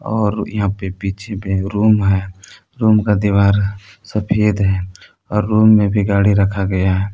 और यहां पे पीछे में रूम है रूम का दीवार सफेद है और रूम में भी गाड़ी रखा गया है।